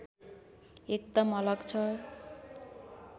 एकदम अलग छ